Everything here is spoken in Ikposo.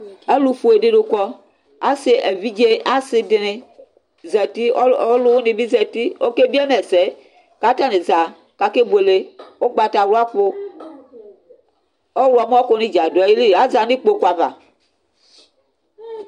Alʋfue dini kɔ, asi evidze asi dini zati, ɔlʋwini bi zati ɔke biema ɛsɛ Kʋ atani za kʋ ake buele ʋgbatawla kʋ, ɔwlɔmɔ kʋni dza dʋ ayili yanʋ ikpokʋ ava